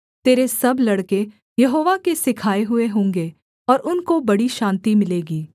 तेरे सब लड़के यहोवा के सिखाए हुए होंगे और उनको बड़ी शान्ति मिलेगी